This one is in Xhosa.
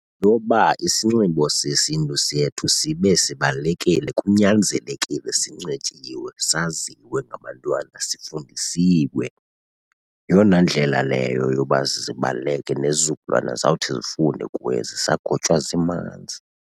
Ngoba isinxibo sesiNtu sethu sibe sibalulekile kunyanzelekile sinxityiwe saziwe ngabantwana, sifundisiwe. Yeyona ndlela leyo yoba zibaluleke, nezizukulwana zawuthi zifunde kuye zisagotywa zimanzi.